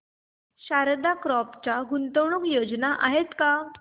Sharda crop च्या गुंतवणूक योजना आहेत का